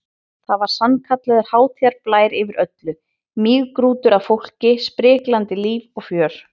Það var sannkallaður hátíðarblær yfir öllu, mýgrútur af fólki, spriklandi líf og fjör.